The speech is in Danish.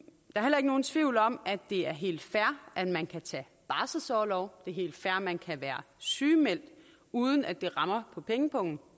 heller ikke nogen tvivl om at det er helt fair at man kan tage barselsorlov og det helt fair at man kan være sygemeldt uden at det rammer på pengepungen